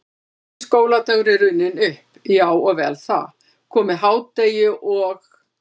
Fyrsti skóladagur er runninn upp, já og vel það, komið hádegi og